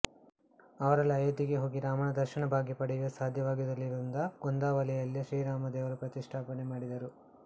ಅವರೆಲ್ಲಾ ಅಯೋಧ್ಯೆಗೆ ಹೋಗಿ ರಾಮನ ದರ್ಶನ ಭಾಗ್ಯ ಪಡೆಯಲು ಸಾಧ್ಯವಾಗಿಲ್ಲವಾಗಿರುವುದರಿಂದ ಗೋಂದಾವಲೆಯಲ್ಲೇ ಶ್ರೀರಾಮ ದೇವರ ಪ್ರತಿಷ್ಠಾಪನೆ ಮಾಡಿದರು